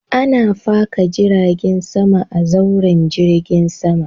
Ana faka jiragen sama a zauren jirgin sama.